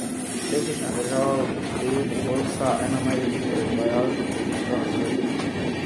Letošnja država v gosteh bo Poljska, ena največjih proizvajalk pohištva na svetu.